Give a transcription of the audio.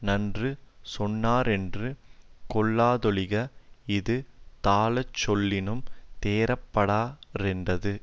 நன்று சொன்னாரென்று கொள்ளாதொழிக இது தாழச்சொல்லினும் தேறப்படா ரென்றது